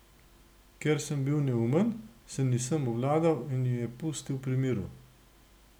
Ker sem bil neumen, se nisem obvladal in je pustil pri miru.